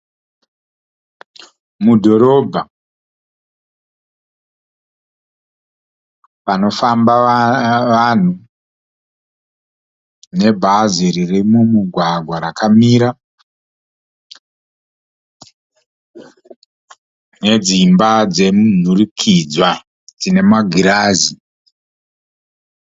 Mudhorobha, panofamba vanhu. Nebhazi ririmumugwagwa rakamira, nedzimba dzemunhurikidzwa dzinemagirazi.